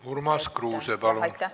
Urmas Kruuse, palun!